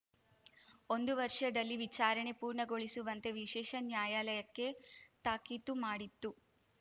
ಒಂದು ವರ್ಷದಲ್ಲಿ ವಿಚಾರಣೆ ಪೂರ್ಣಗೊಳಿಸುವಂತೆ ವಿಶೇಷ ನ್ಯಾಯಾಲಯಕ್ಕೆ ತಾಕೀತು ಮಾಡಿತ್ತು